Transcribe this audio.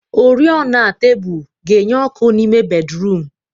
Oriọna tebụl ga-enye ọkụ n'ime bédrụum.